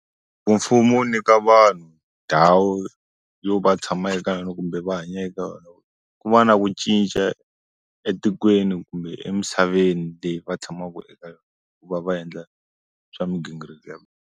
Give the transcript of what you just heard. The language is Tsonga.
Ku mfumo wu nyika vanhu ndhawu yo va tshama eka yona kumbe va hanya eka yona ku va na ku cinca etikweni kumbe emisaveni leyi va tshamaku eka yona ku va va endla swa migingiriko ya.